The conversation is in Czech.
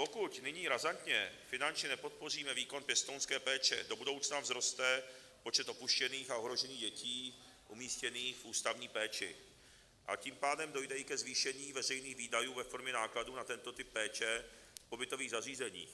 Pokud nyní razantně finančně nepodpoříme výkon pěstounské péče, do budoucna vzroste počet opuštěných a ohrožených dětí umístěných v ústavní péči, a tím pádem dojde i ke zvýšení veřejných výdajů ve formě nákladů na tento typ péče v pobytových zařízeních,